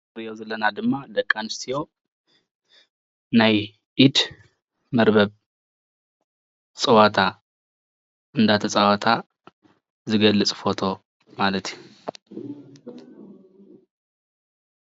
እዚ እንሪኦ ዘለና ድማ ደቂ ኣነስትዮ ናይ ኢድ መርበብ ፀወታ እንዳተፃወታ ዝገልፅ ፎቶ ማለት እዩ፡፡